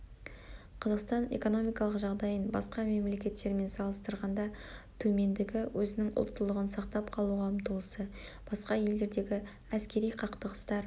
қазақстан экономикалық жағдайын басқа мемлекеттермен салыстырғанда төмендігі өзінің ұлттылығын сақтап қалуға ұмтылысы басқа елдердегі әскери қақтығыстар